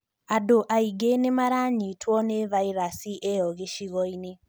Andũ aingĩ nĩmaranyitwo nĩ vairasi ĩyo gĩcigo-inĩ